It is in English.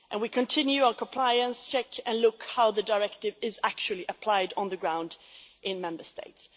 We are continuing our compliance check and looking at how the Directive is actually applied on the ground in Member States.